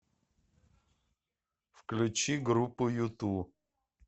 включи группу юту